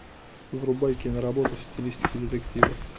врубай киноработу в стилистике детектива